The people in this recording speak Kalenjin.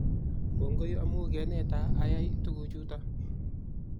kongoi amu keneta ayai kuchutok